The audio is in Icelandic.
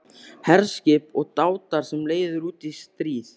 HERSKIP OG DÁTAR SEM LEIÐIR ÚT Í STRÍÐ